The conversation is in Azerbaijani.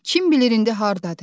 Kim bilir indi hardadır?